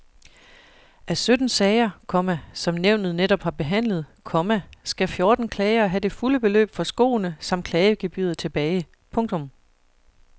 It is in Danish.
Af sytten sager, komma som nævnet netop har behandlet, komma skal fjorten klagere have det fulde beløb for skoene samt klagegebyret tilbage. punktum